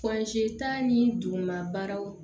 ta ni duguma baaraw